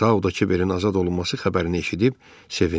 Sau da Kiberin azad olunması xəbərini eşidib sevindi.